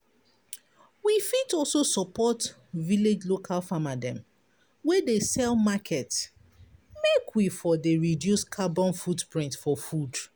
We fit also support village local farmer dem wey dey sell market make we for dey reduce carbon footprint for food.